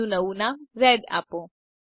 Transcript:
તેને નવું નામ રેડ આપો